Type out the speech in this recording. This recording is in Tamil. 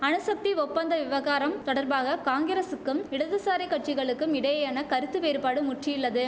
அணுசக்தி ஒப்பந்த விவகாரம் தொடர்பாக காங்கிரசுக்கும் இடதுசாரி கட்சிகளுக்கும் இடையேயான கருத்து வேறுபாடு முற்றியுள்ளது